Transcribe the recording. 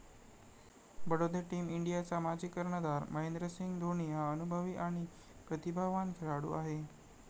Badode team इंडियाचा माजी कर्णधार महेंद्रसिंग धोनी हा अनुभवी आणि प्रतिभावान खेळाडू आहे.